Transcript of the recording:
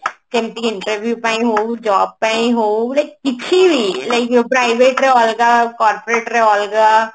ଯେମତି କି interview ପାଇଁ ହଉ job ପାଇଁ ହଉ like କିଛି ବି like private ରେ ଅଲଗା corporate ରେ ଅଲଗା